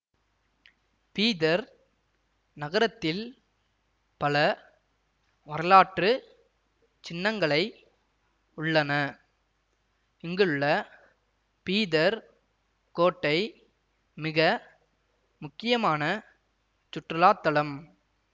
பீதர் நகரத்தில் பல வரலாற்று சின்னங்களை உள்ளன இங்குள்ள பீதர் கோட்டை மிக முக்கியமான சுற்றுலா தளம்